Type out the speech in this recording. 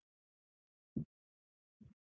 .